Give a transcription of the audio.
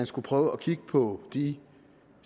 skulle prøve at kigge på de